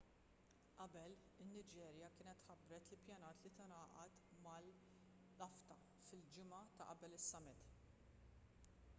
qabel in-niġerja kienet ħabbret li ppjanat li tingħaqad mal-afcfta fil-ġimgħa ta' qabel is-summit